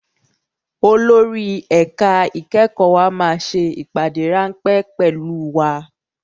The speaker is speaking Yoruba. Olórí ẹ̀ka ìkẹ́kọ̀ọ́ wa máa ṣe ìpàdé ráńpẹ́ pẹ̀lú wa